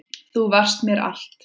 Þú varst mér allt.